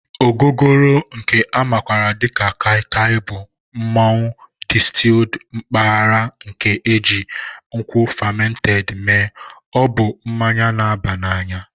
Ogogoro nke a makwaara dị ka Kai Kai Bụ mmụọ distilled mpaghara nke e ji nkwụ fermented mee, ọ bụ mmanya na-aba n'anya